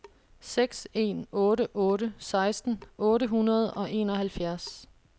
seks en otte otte seksten otte hundrede og enoghalvfjerds